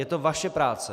Je to vaše práce.